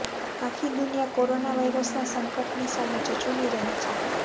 આખી દુનિયા કોરોના વાયરસના સંકટની સામે ઝઝૂમી રહી છે